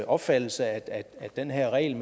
opfattelse at den her regel